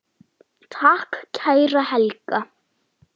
Takk, kæra Helga.